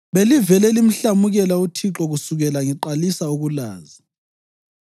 Belivele limhlamukela uThixo kusukela ngiqalisa ukulazi.